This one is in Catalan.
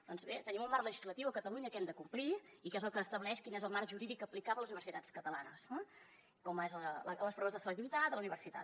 doncs bé tenim un marc legislatiu a catalunya que hem de complir i que és el que estableix quin és el marc jurídic a aplicar per les universitats catalanes com són les proves de selectivitat a la universitat